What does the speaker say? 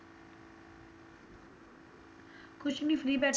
ਕੁਛ ਨਹੀਂ free ਬੈਠੇ